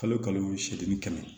Kalo kalo seegin kɛmɛ